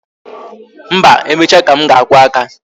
Mba, emecha ka m ga-akwụ aka